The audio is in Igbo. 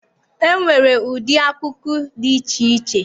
E nwere ụdị akụkụ dị iche iche.